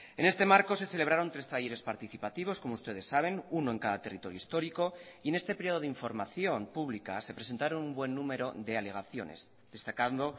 en este marco se celebraron tres talleres participativos como ustedes saben uno en cada territorio histórico y en este periodo de información pública se presentaron un buen número de alegaciones destacando